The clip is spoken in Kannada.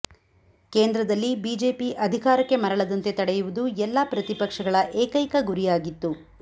ಕೇಂದ್ರದಲ್ಲಿ ಬಿಜೆಪಿ ಅಧಿಕಾರಕ್ಕೆ ಮರಳದಂತೆ ತಡೆಯುವುದು ಎಲ್ಲಾ ಪ್ರತಿಪಕ್ಷಗಳ ಏಕೈಕ ಗುರಿಯಾಗಿತ್ತು